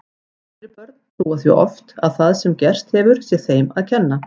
Yngri börn trúa því oft að það sem gerst hefur sé þeim að kenna.